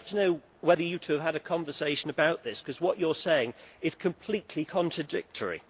I would love to know whether you two had a conversation about this, because what you are saying is completely contradictory.